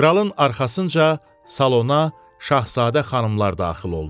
Kralın arxasınca salona şahzadə xanımlar daxil oldu.